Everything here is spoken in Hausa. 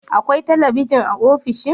Akwai talabijin a ofishin?